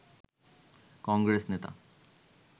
কংগ্রেস নেতা